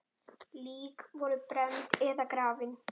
Lík voru brennd eða grafin.